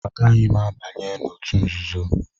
Agaghị m abanye n'òtù nzuzo.